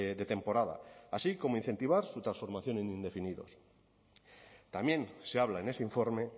de temporada así como incentivar su transformación en indefinidos también se habla en ese informe